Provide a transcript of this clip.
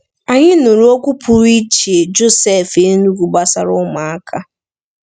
Anyị nụrụ okwu pụrụ iche Joseph Enugu gbasara ụmụaka.